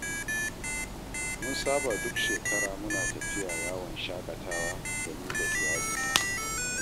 Mun saba duk shekara muna tafiya yawon shaƙatawa da ni da iyalina